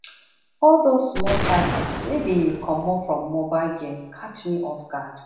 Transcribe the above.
all those small charges wey dey comot for mobile game catch me off guard